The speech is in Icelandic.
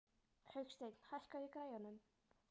Hauksteinn, hækkaðu í græjunum.